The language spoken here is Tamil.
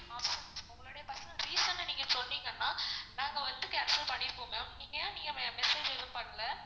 ஆமா உங்களுடைய personal reason சொன்னீங்கனா நாங்க வந்து cancel பண்ணிப்போம் ma'am. ஏன் நீங்க message எதுவும் பண்ணல?